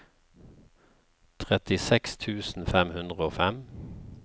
trettiseks tusen fem hundre og fem